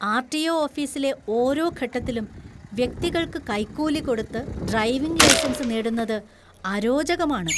RTO. ഓഫീസിലെ ഓരോ ഘട്ടത്തിലും വ്യക്തികൾക്ക് കൈക്കൂലി കൊടുത്ത് ഡ്രൈവിംഗ് ലൈസൻസ് നേടുന്നത് അരോചകമാണ്.